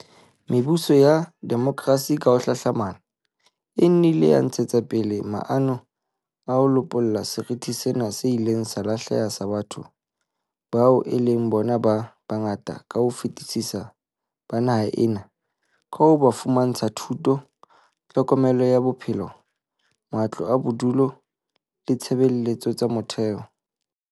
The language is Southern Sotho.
Mebuso ya demokrasi ka ho hlahlamana e nnile ya ntshetsa pele maano a ho lopolla seriti sena se ileng sa lahleha sa batho bao e leng bona ba bangata ka ho fetisisa ba naha ena ka ho ba fumantsha thuto, tlhokomelo ya bophelo, matlo a bodulo le ditshebeletso tsa motheo.